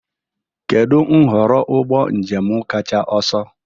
Kedu nhọrọ ụgbọ njem kacha ọsọ?